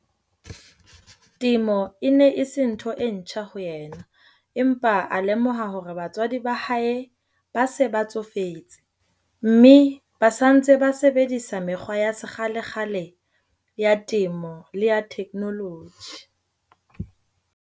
Temo e ne e se ntho e ntjha ho yena, empa a lemoha hore batswadi ba hae ba se ba tsofetse, mme ba sa ntse ba sebedisa mekgwa ya sekgalekgale ya temo le ya theknoloji.